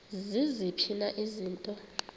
ziziphi na izinto